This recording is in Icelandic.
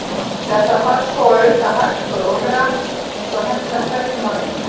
Þetta þarf svo að auka hægt og rólega eins og hentar hverjum og einum.